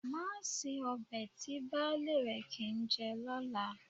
Má se ọbẹ̀ tí baálé rẹ kì í jẹ lọ́la